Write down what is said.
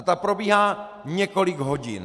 A ta probíhá několik hodin.